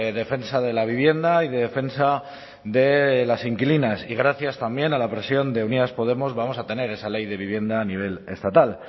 defensa de la vivienda y de defensa de las inquilinas y gracias también a la presión de unidas podemos vamos a tener esa ley de vivienda a nivel estatal